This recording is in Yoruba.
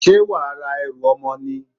Ṣé wàá ra ẹrù ọmọ ni?